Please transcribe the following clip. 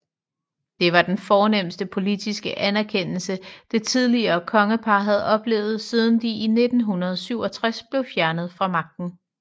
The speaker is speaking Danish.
Det var den fornemste politiske anerkendelse det tidligere kongepar havde oplevet siden de i 1967 blev fjernet fra magten